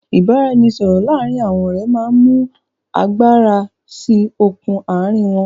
ìbáraẹnisọọ̀rọ̀ láàrín àwọn ọ̀rẹ́ máa ń mú agbára síí okùn àárín wọn.